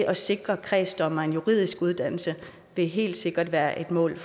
at sikre kredsdommerne en juridisk uddannelse vil helt sikkert være et mål